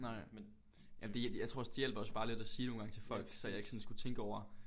Nej men jamen det jeg tror også det hjælper også bare lidt at sige nogen gange til folk så jeg ikke sådan skulle tænke over